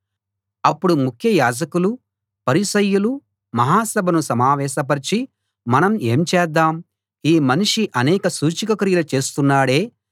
అప్పుడు ముఖ్య యాజకులు పరిసయ్యులు మహా సభను సమావేశపరిచి మనం ఏం చేద్దాం ఈ మనిషి అనేక సూచక క్రియలు చేస్తున్నాడే